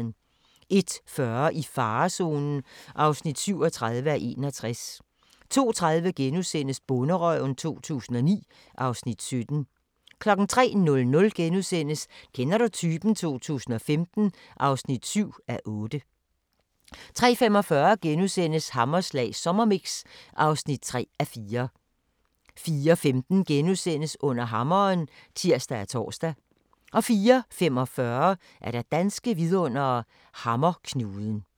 01:40: I farezonen (37:61) 02:30: Bonderøven 2009 (Afs. 17)* 03:00: Kender du typen? 2015 (7:8)* 03:45: Hammerslag sommermix (3:4)* 04:15: Under hammeren *(tir og tor) 04:45: Danske vidundere: Hammerknuden